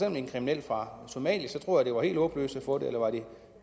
en kriminel fra somalia tror jeg at det var helt håbløst at få det eller var det